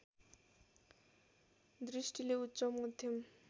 दृष्टिले उच्च मध्यम